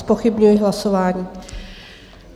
Zpochybňuji hlasování.